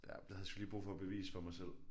Ja det havde jeg sgu lige brug for at bevise for mig selv